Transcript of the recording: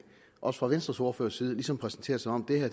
også fra venstres ordførers side ligesom præsenteres som om det her